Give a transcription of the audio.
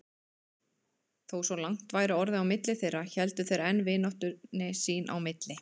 Þó svona langt væri orðið á milli þeirra héldu þeir enn vináttunni sín í milli.